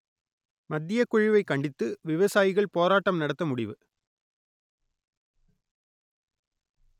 மத்தியக்குழுவை கண்டித்து விவசாயிகள் போராட்டம் நடத்த முடிவு